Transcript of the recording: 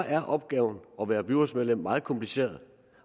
at opgaven at være byrådsmedlem er meget kompliceret